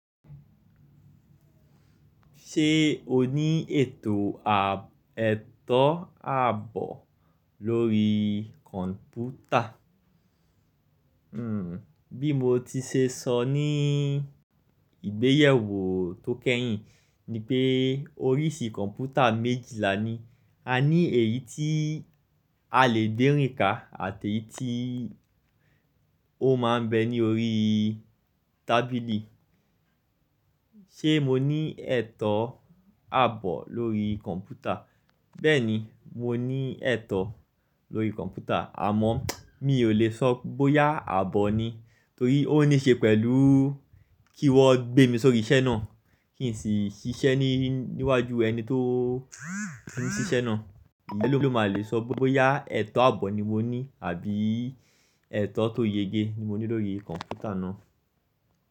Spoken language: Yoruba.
Ṣé o ní ètò ààbò lórí kọ̀ǹpútà? Bí mo ti ṣe sọ ní ìgbéyewó tó kẹ́yìn ni pé oríṣi kọ̀ǹpútà méjì lá ni, a ní èyí tí a lè gbẹ́rìnká àti èyí tí ó máa ń bẹ ní orí tábìlì. Ṣé mo ní ẹ̀tọ́ ààbò lórí kọ̀ǹpútà? Bẹ́ẹ̀ni, mo ní ẹ̀tọ́ lórí kọ̀ǹpútà àmọ́ mi ò lè sọ bóyá ààbò ni torí ó níṣe pẹ̀lú kí wọ́n gbé mi sóri iṣẹ́ náà kí n sì ṣiṣẹ́ níwájú ẹni tó ń ṣiṣẹ́ náà. Ló máa lè sọ bóyá ẹ̀tọ́ ààbò ni mo ní àbí ẹ̀tọ́ tó yege ni mo ní lórí kọ̀ǹpútà náà.